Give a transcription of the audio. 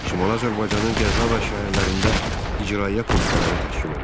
Şimali Azərbaycanın qəza və şəhərlərində icraiyyə komitələri təşkil olundu.